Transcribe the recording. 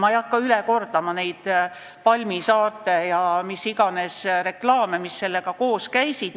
Ma ei hakka üle kordama neid palmisaarte ja mis iganes reklaame, mis sellega koos käisid.